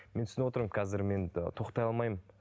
мен түсініп отырмын қазір мен ы тоқтай алмаймын